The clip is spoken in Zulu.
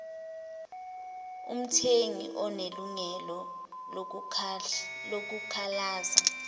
umthengi unelungelo lokukhalaza